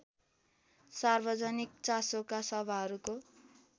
सार्वजनिक चासोका सभाहरूको